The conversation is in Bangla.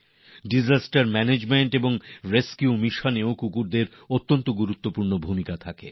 কুকুরদের বিপর্যয় ব্যবস্থাপনা আর উদ্ধার অভিযানে বিরাট ভূমিকা রয়েছে